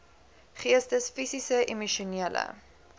geestes fisiese emosionele